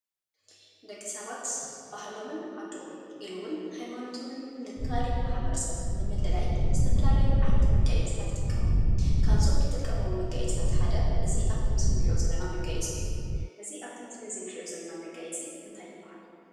ደቂ ሰባት ባህሎምን ዓዶምን ኢሉ’ውን ሃይማኖቶምን ካሊእ ማሕበረሰብ ንምምልላይ ዝተፈላለዩ ዓይነት መጋየፂታት ይጥቀሙ፡፡ ካብዞም ዝጥቀሞም መጋየፂታት ሓደ እዚ ኣብቲ ምስሊ እንሪኦ ዘለና መጋየፂ እዩ፡፡ እዚ ኣብቲ ምስሊ እዚ እንሪኦ ዘለና መጋየፂ እንታይ ይበሃል?